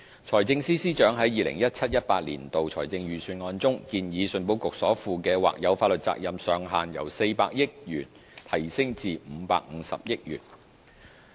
財政司司長在 2017-2018 年度的財政預算案中，建議信保局所負的或有法律責任上限由400億元提高至550億元。